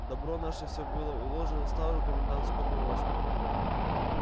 добро наше всё было уложено в старую комендантскую повозку